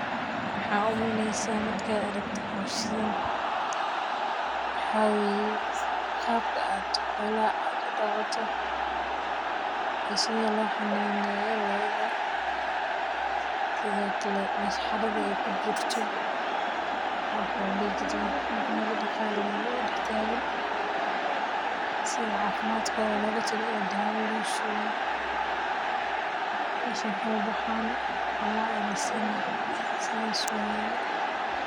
Maxaad u maleynaysaa markaad aragto hawshan, waxaa weye qab ka aad xolaha aad u daqato iyo sithi lo xananeyo lodha, sithokale mesha xerada ee kujirto, o waxaa ladihi ninka o daqaleyo o dax tagan, sitha cafiimaadkodha loga taliyo o dawa lo siyo, meshan kama baxano xola aya lasini sas waye.